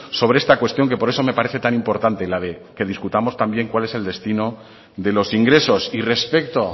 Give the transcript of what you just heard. sobre esta cuestión que por eso me parece tan importante la de que discutamos también cuál es el destino de los ingresos y respecto